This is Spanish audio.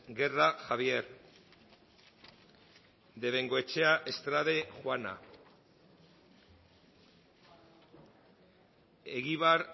guerra javier de bengoechea estrade juana egibar